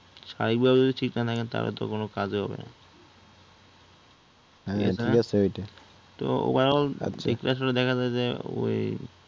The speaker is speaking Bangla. স্বাভাবিকভাবে যদি ঠিক না থাকেন তাহলে তো কোন কাজেই হবে না আসলে দেখা যায় যে ঐ